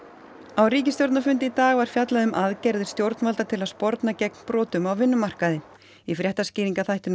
á ríkisstjórnarfundi í dag var fjallað um aðgerðir stjórnvalda til að sporna gegn brotum á vinnumarkaði í fréttaskýringaþættinum